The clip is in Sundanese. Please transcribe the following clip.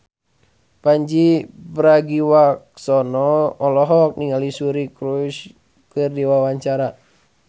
Pandji Pragiwaksono olohok ningali Suri Cruise keur diwawancara